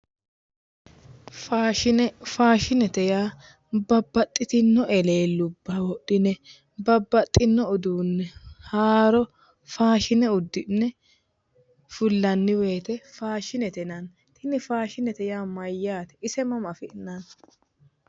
Faashine faashinete yaa babbaxxitino eleellubba wodhine babbaxxino uduunne haaro faashine uddi'ne fullanni woyte faashinete yinanni tini faashinete yaa mayyaate ise mama afi'nanni